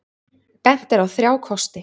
Bent er á þrjá kosti.